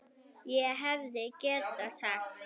ÉG HEFÐI GETAÐ SAGT